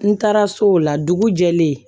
N taara so o la dugu jɛlen